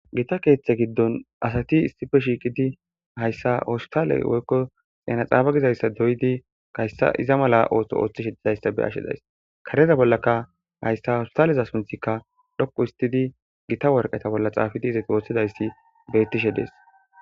gita keeththe giddon asati issife shiiqidi hayssa oostale woykko xeena xaabagizayssa doydi gayssa iza mala oohso ooththishe dizayssa be ashshedays kareza bollaka hayssa hawustaleza sunthikka dhoqu istidi gita worqeta bolla xaafidi izati ooththidayssi beettishe dees